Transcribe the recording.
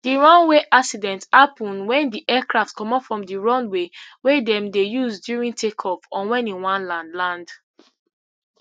di runway accident happun wen di aircraft comot from di runway wey dem dey use during takeoff or wen e wan land land